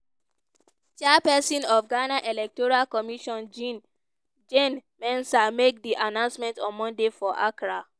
chairpesin of ghana electoral commission jean jane mensa make di announcement on monday for accra.